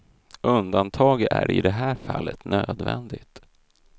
Undantag är i det här fallet nödvändigt.